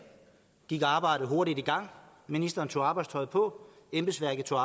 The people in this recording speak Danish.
gik arbejdet hurtigt i gang ministeren tog arbejdstøjet på embedsværket tog